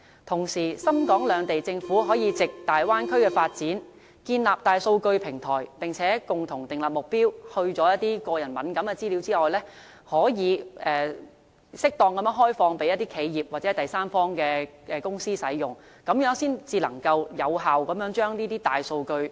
同時，深、港兩地政府可藉大灣區發展建立大數據平台，並共同訂立目標，在去除個人敏感資料後，可以適當地開放予企業或第三方公司使用，這樣才能有效釋放大數據。